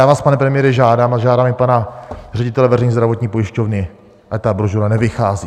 Já vás, pane premiére, žádám, a žádám i pana ředitele veřejné zdravotní pojišťovny, ať ta brožura nevychází.